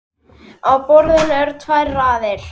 Á borðinu eru tvær raðir.